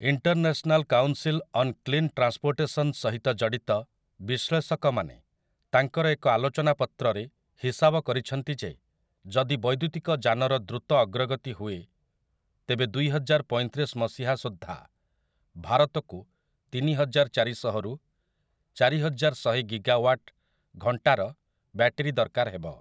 International council on clean transportation' ସହିତ ଜଡ଼ିତ ବିଶ୍ଳେଷକମାନେ ତାଙ୍କର ଏକ ଆଲୋଚନା ପତ୍ରରେ ହିସାବ କରିଛନ୍ତି ଯେ ଯଦି ବୈଦ୍ୟୁତିକ ଯାନର ଦ୍ରୁତ ଅଗ୍ରଗତି ହୁଏ, ତେବେ ଦୁଇହଜାରପଇଁତିରିଶ ମସିହା ସୁଦ୍ଧା ଭାରତକୁ ତିନିହଜାର ଚାରିଶହ ରୁ ଚାରିହଜାର ଶହେ ଗିଗାୱାଟ୍ ଘଣ୍ଟାର ବ୍ଯାଟେରୀ ଦରକାର ହେବ ।